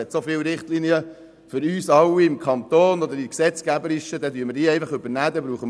Es gibt so viele Richtlinien für uns alle im Kanton oder in den gesetzgeberischen Bestimmungen, die wir einfach übernehmen können.